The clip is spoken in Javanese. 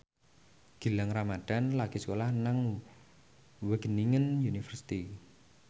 Gilang Ramadan lagi sekolah nang Wageningen University